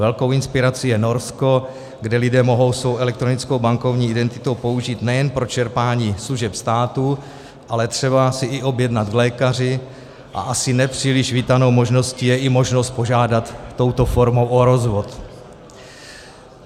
Velkou inspirací je Norsko, kde lidé mohou svou elektronickou bankovní identitu použít nejen pro čerpání služeb státu, ale třeba se i objednat k lékaři, a asi nepříliš vítanou možností je i možnost požádat touto formou o rozvod.